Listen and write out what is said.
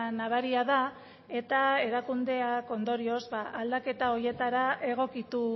nabaria da eta erakundeak ondorioz ba aldaketa horietara egokitu